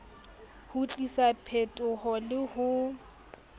ho tlisa phetoho le ho